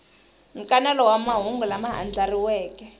nkanelo wa mahungu lama andlariweke